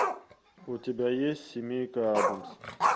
у тебя есть семейка адамс